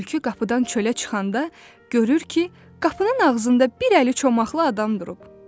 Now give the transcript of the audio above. Tülkü qapıdan çölə çıxanda görür ki, qapının ağzında bir əli çomaqlı adam durub.